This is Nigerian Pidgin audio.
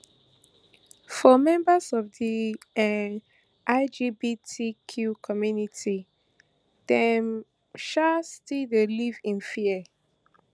for members of di um lgbtq community dem um still dey live in fear